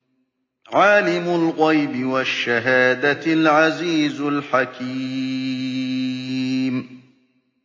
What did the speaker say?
عَالِمُ الْغَيْبِ وَالشَّهَادَةِ الْعَزِيزُ الْحَكِيمُ